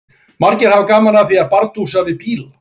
Margir hafa gaman af því að bardúsa við bíla.